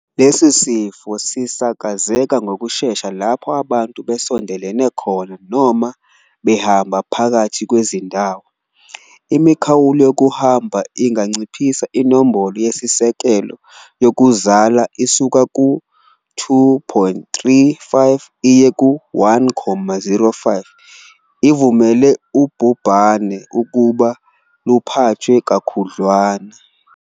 Lesi sifo sisakazeka ngokushesha lapho abantu besondelene khona noma behamba phakathi kwezindawo. Imikhawulo yokuhamba inganciphisa inombolo eyisisekelo yokuzala isuka ku-2.35 iye ku-1,05, ivumele ubhubhane ukuba luphathwe kakhudlwana.